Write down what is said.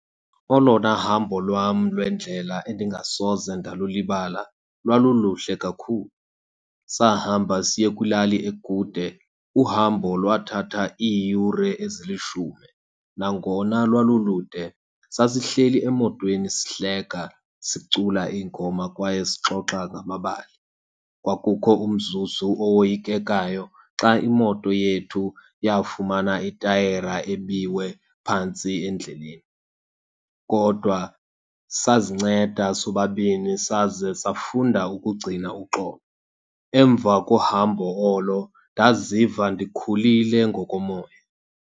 Olona hambo lwam lwendlela endingasoze ndalulibala lwaluluhle kakhulu, sahamba siye kwilali ekude. Uhambo lwathatha iiyure ezilishumi. Nangona lwalulude, sasihleli emotweni sihleka, sicula iingoma kwaye sixoxa ngamabali. Kwakukho umzuzu owoyikekayo xa imoto yethu yafumana itayera ebiwe phantsi endleleni. Kodwa sazinceda sobabini saze safunda ukugcina uxolo. Emva kohambo olo ndaziva ndikhulile ngokomoya.